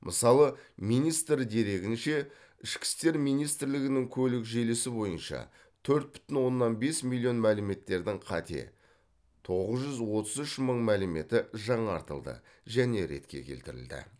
мысалы министр дерегінше ішкі істер министрлігінің көлік желісі бойынша төрт бүтін оннан бес миллион мәліметтердің қате тоғыз жүз отыз үш мың мәліметі жаңартылды және ретке келтірілді